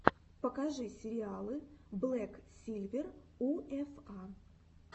покажи сериалы блэк сильвер у эф а